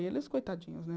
E eles, coitadinhos, né?